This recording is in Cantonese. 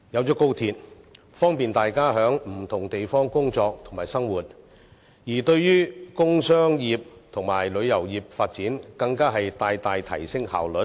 在高鐵通車後能方便大家在不同地方工作及生活，而對於工商業及旅遊業的發展，更能大大提升效率。